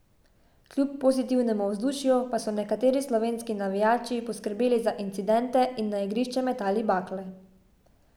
Kljub pozitivnemu vzdušju pa so nekateri slovenski navijači poskrbeli za incidente in na igrišče metali bakle.